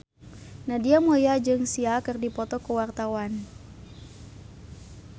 Nadia Mulya jeung Sia keur dipoto ku wartawan